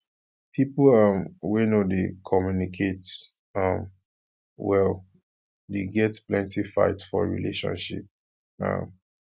pipo um wey no dey communicate um well dey get plenty fight for relationship um